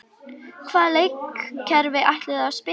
Hvaða leikkerfi ætlarðu að spila?